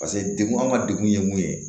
Paseke degun an ka degun ye mun ye